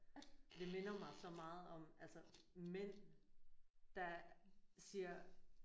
Det minder mig så meget om altså mænd der siger